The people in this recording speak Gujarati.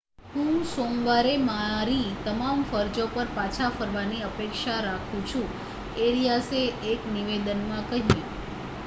હું સોમવારે મારી તમામ ફરજો પર પાછા ફરવાની અપેક્ષા રાખું છું એરિયાસે એક નિવેદનમાં કહ્યું